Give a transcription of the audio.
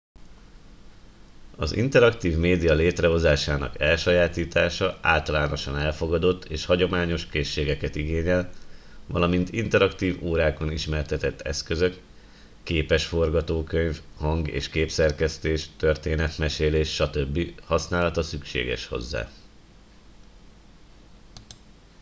az interaktív média létrehozásának elsajátítása általánosan elfogadott és hagyományos készségeket igényel valamint interaktív órákon ismertetett eszközök képes forgatókönyv hang- és képszerkesztés történetmesélés stb. használata szükséges hozzá